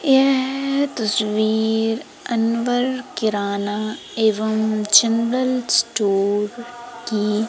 यह तस्वीर अनवर किराना एवं जनरल स्टोर की--